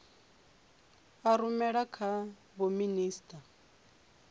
a rumela kha vho minisita